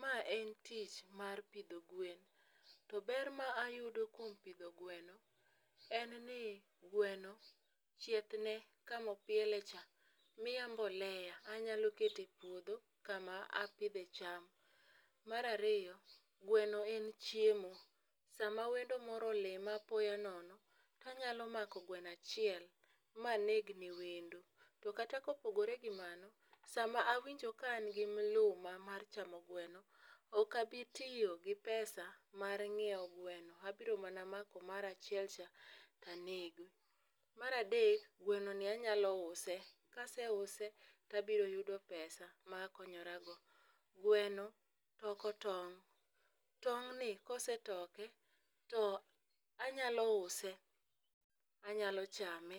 Ma en tich mar pidho gwen. To ber ma ayudo kuom pidho gweno en ni gweno chieth ne kama opiele cha, miya mbolea. Anyalo keto e puodho kama apidhe cham. Mar ariyo, gweno en chiemo, sama wendo moro olima apoya nono, to anyalo mako gweno achiel ma anegne wendo, to kata ka opogore gi mano, sama awinjo ka an gi mluma mar chamo gweno, ok abitiyo gi pesa mar nyiewo gweno. Abiro mana mako mara achiel cha to anego. Mar adek, gwenoni anyalo use, ka aseuse, to abiro yudo pesa ma akonyorago. Gweno toko tong', tong'ni kosetoke, to anyalo use, anyalo chame,